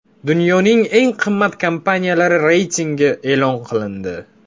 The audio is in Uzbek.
Dunyoning eng qimmat kompaniyalari reytingi e’lon qilindi.